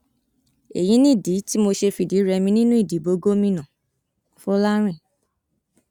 èyí nìdí tí mo ṣe fìdírẹmi nínú ìdìbò gómìnàfọlárìn